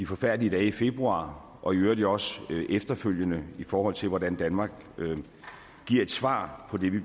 forfærdelige dage i februar og i øvrigt også efterfølgende i forhold til hvordan danmark giver et svar på det vi